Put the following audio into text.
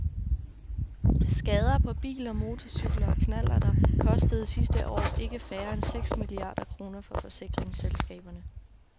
Skader på biler, motorcykler og knallerter kostede sidste år ikke færre end seks milliarder kroner for forsikringsselskaberne.